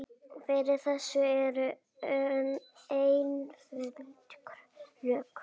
Fyrir þessu eru einföld rök.